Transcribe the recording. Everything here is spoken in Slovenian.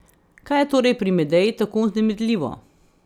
Kaj je torej pri Medeji tako vznemirljivo?